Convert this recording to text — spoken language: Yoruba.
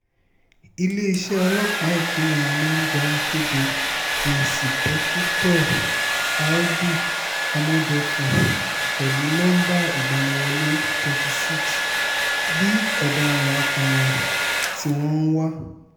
iléeṣẹ́ ọlọ́pàá ìpínlẹ̀ anambra ń kéde ìǹṣìpẹ̀kìtọ́ àùdù ọmọdéfù pẹ̀lú nọmba ìgbaniwọlẹ̀ thirty six :" bíi ọ̀daràn apààyàn tí wọ́n ń wá